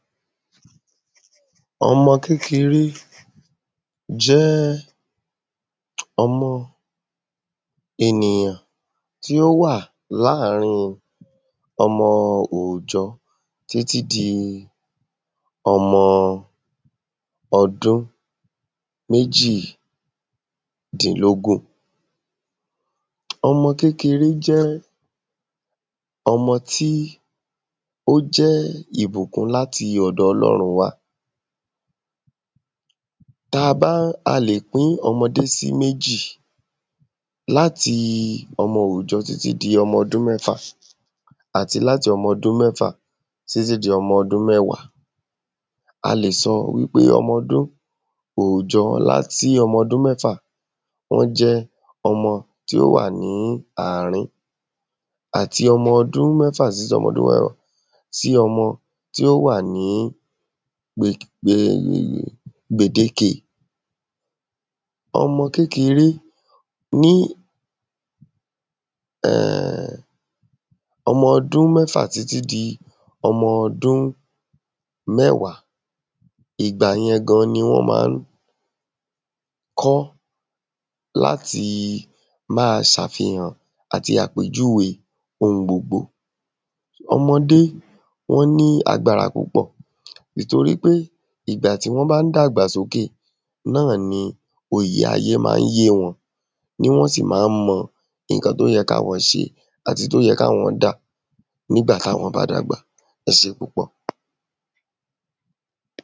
ọmọ kékeré jẹ́ ọmọ ènìyàn tí ó wà láàárin ọmọ òòjọ títí di ọmọ ọdún méjì dínlógún ọmọ kekere jẹ́ ọmọ tí ó jẹ́ ìbùkún láti ọ̀dọ̀ Ọlọ́run wá ta ba ń ta ba ń pín ọmọdé sí méjì láti ọmọ òòjọ títí di ọmọ ọdún mẹ́fà àti láti ọmọ ọdun mẹ́fà títí di ọmọ ọdun mẹ́wá a lè sọ wípé ọmọ ọdún òòjọ sí ọmọ ọdun mẹ́fà wọ́n jẹ́ ọmọ tí ó wà ní àrin ọmọ ọdun mẹ́fà si ọmọ tí ó wà ní gbèdéke ọmọ kékeré ní ọmọ ọdun mẹ́fà títí di ọmọ ọdun mẹ́wá ìgbà yẹn gan ni wọ́n má ń kọ́ láti má a sàfihàn àti àpèjúwe ohun gbogbo ọmọdé wọ́n ní agbára púpọ̀ nítorí pé ìgbà tí wọ́n bá ń dàgbà sókè náà ni òye ayé má ń yé wọn ní wọn sì má ń mọ iǹkan tó yẹ ká won ṣe àti ìyí tó yẹ ká wọn dá nigbà táwọn bá dàgbà ẹ ṣe púpọ̀